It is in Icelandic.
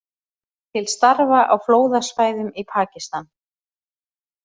Til starfa á flóðasvæðum í Pakistan